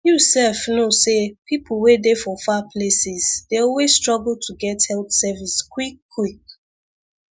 you sef know say people wey dey for far places dey always struggle to get health service quickquick